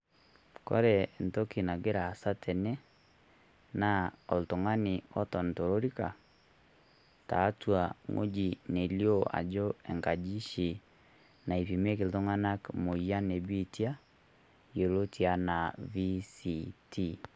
Ore entoki nagira aasa tene, na oltung'ani oton tolorika, taatua wueji nalio ajo nkaji oshi naipimieki iltung'anak moyian ebiitia, yioloti enaa VCT.